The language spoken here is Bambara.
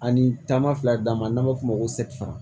Ani taama fila d'a ma n'an b'a f'o ma ko sɛfɛri